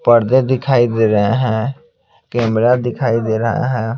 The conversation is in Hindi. पर्दे दिखाई दे रहे हैं कैमरा दिखाई दे रहा है।